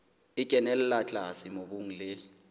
e kenella tlase mobung le